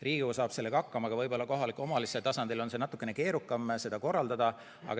Riigikogu saab sellega hakkama, aga võib-olla kohaliku omavalitsuse tasandil on natukene keerukam seda korraldada.